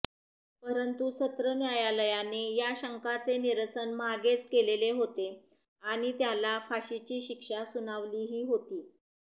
परंतु सत्र न्यायालयाने या शंकांचे निरसन मागेच केलेले होते आणि त्याला फाशीची शिक्षा सुनावलीही होती